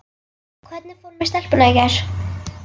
Hvernig fór með stelpuna í gær?